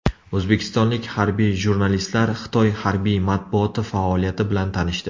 O‘zbekistonlik harbiy jurnalistlar Xitoy harbiy matbuoti faoliyati bilan tanishdi .